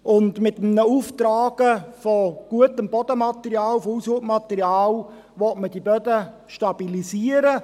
Mit einem Auftragen von gutem Bodenmaterial, von Aushubmaterial will man diese Böden stabilisieren.